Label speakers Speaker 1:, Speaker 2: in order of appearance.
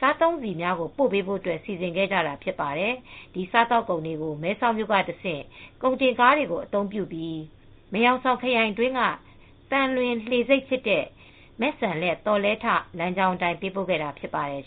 Speaker 1: စားသုံးဆီတွေ ပို့ပေးဖို့ စီစဉ်ကြတာ ဖြစ်ပါတယ်။ ဒီ စားသောက်ကုန်တွေကို မဲဆောက်မြို့က တဆင့် ကုန်တင်းကားတွေနဲ့ မယ်ဟောင်ဆောင် ခရိုင်တွင်းက သံလွင်လှေဆိပ် ဖြစ်တဲ့ မဲ့စံလက် လမ်းကြောင်း အတိုင်း ပေးပို့ခဲ့တာ ဖြစ်ပါတယ်